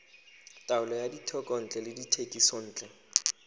taolo ya dithekontle le dithekisontle